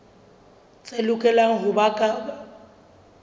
tse lokelang ho ba ka